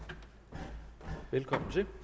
det